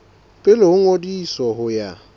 pele ho ngodiso ho ya